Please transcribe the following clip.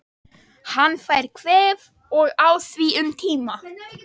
Hann fær kvef og á í því um tíma.